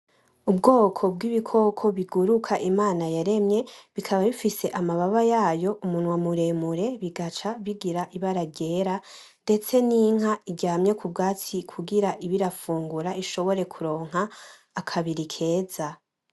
Ubwoko bw'ibikoko biguruka Imana yaremye bikaba bifise amababa yayo umunwa muremure bigaca bigira ibara ryera ndetse n'inka iryamye ku bwatsi kugira ibe irafungura ishobore kuronka akabiri keza.